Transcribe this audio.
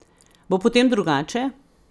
Bo potem drugače?